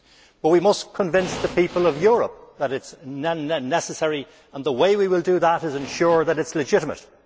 But we must convince the people of Europe that it is necessary, and the way we will do that is by ensuring that it is legitimate.